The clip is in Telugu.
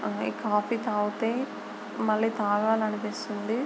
అం కాఫీ తాగితే మళ్ళీ తాగాలనిపిస్తుంది.